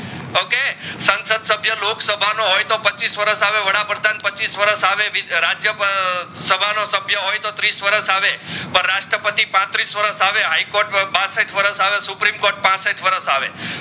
સાંસદ સભ્ય લોક સભા નો હોય તો પચ્ચીસ વરસ આવે વડાપ્રધાન પચ્ચીસ વરસ આવે વિધ રાજ્ય સભા નો સભ્ય હોય તો ત્રીસ વરસ આવે પર રસત્ર પતિ પત્રીસ વરસ આવે હાઇ કોર્ટ બાસઠ વરસ આવે સૂપરીમ કોર્ટ પાસઠ વરસ આવે